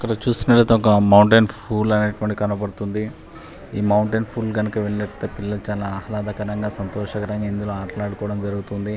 ఇక్కడ చూసినట్లయితే ఒక మౌంటేన్ ఫూల్ అనేటువంటిది కనబడుతుంది ఈ మౌంటేన్ ఫూల్ కి గనక వెళ్ళినట్లయితే పిల్లలు చలా ఆహ్లాదకరంగా సంతోషకరంగా ఇందులో ఆటలాడుకోవడం జరుగుతుంది.